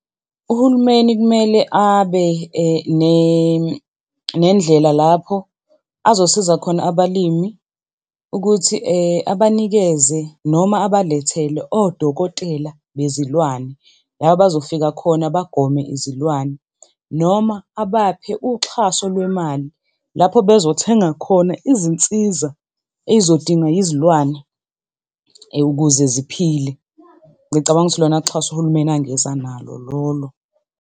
Uhulumeni kumele abe nendlela lapho azosiza khona abalimi ukuthi abanikeze noma abalethele odokotela bezilwane la abazofika khona bagome izilwane, noma abaphe uxhaso lwemali lapho bezothenga khona izinsiza ey'zodingwa yizilwane ukuze ziphile. Ngicabanga ukuthi ilona xhaso uhulumeni angeza nalo lolo.